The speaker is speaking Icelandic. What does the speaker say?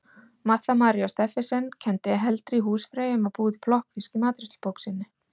Marta María Stephensen kenndi heldri húsfreyjum að búa til plokkfisk í matreiðslubók sinni.